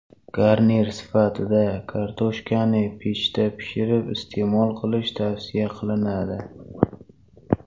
Garnir sifatida kartoshkani pechda pishirib iste’mol qilish tavsiya qilinadi.